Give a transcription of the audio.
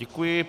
Děkuji.